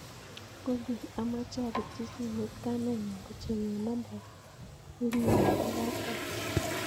Google amoche apirchi simoit kamenyun kochengwon nambaitnyin nebo kapkasi